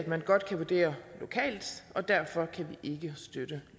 man godt kan vurdere lokalt og derfor kan vi ikke støtte